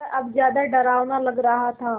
वह अब ज़्यादा डरावना लग रहा था